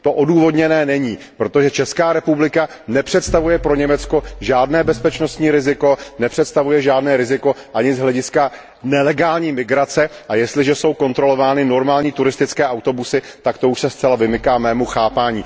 To odůvodněné není, protože Česká republika nepředstavuje pro Německo žádné bezpečnostní riziko, nepředstavuje žádné riziko ani z hlediska nelegální migrace a jestliže jsou kontrolovány normální turistické autobusy, tak to už se zcela vymyká mému chápaní.